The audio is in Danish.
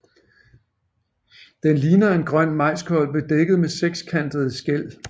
Den ligner en grøn majskolbe dækket med sekskantede skæl